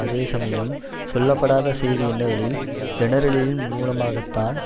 அதே சமயம் சொல்லப்படாத செய்தி என்னவெனில் ஜெனரலின் மூலமாகத்தான்